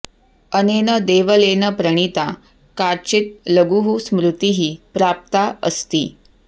अनेन देवलेन प्रणिता काचित् लघुः स्मृतिः प्राप्ता अस्ति